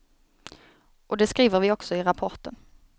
Och det skriver vi också i rapporten.